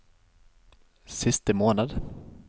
siste måned